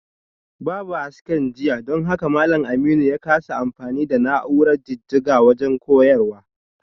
Babu hasken jiya don haka malam Aminu ya kasa amfani da na’urar jijjiga wajen koyarwa